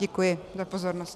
Děkuji za pozornost.